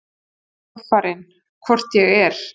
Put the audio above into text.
Töffarinn: Hvort ég er!